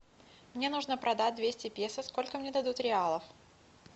мне нужно продать двести песо сколько мне дадут реалов